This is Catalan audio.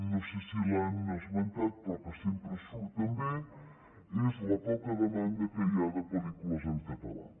no sé si l’han esmentat però que sempre surt també és la poca demanda que hi ha de pel·lícules en català